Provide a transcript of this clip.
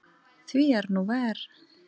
Því er nú ver.